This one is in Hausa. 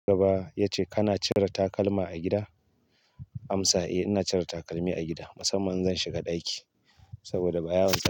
Gaba ya ce kana cire takalma a gida? Amsa, eh ina cire takalmi a gida. Musamman in zan shiga ɗaki saboda ba yawan saka.